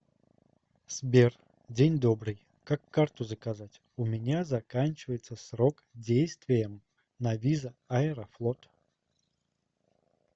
сбер день добрый как карту заказать у меня заканчивается срок действиям на виза аэрофлот